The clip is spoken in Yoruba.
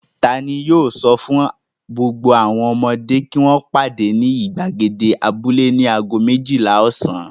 Ta ni yóò sọ fún gbogbo ọmọdé kí wọ́n pàdé ní ìgbàgede abúlé ní ago méjìlá ọ̀sán?